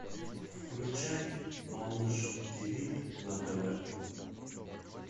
включай малыш ти ви на тв